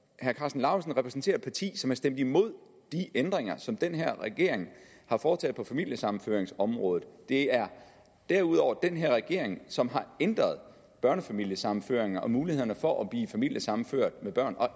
herre karsten lauritzen repræsenterer et parti som har stemt imod de ændringer som den her regering har foretaget på familiesammenføringsområdet det er derudover den her regering som har ændret børnefamiliesammenføringer og mulighederne for at blive familiesammenført med børn og